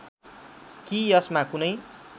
कि यसमा कुनै